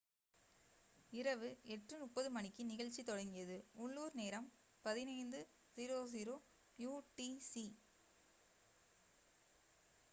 இரவு 8:30 மணிக்கு நிகழ்ச்சி தொடங்கியது. உள்ளூர் நேரம் 15.00 utc